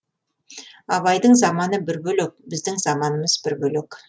абайдың заманы бір бөлек біздің заманымыз бір бөлек